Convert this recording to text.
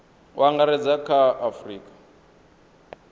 u angaredza kha a afurika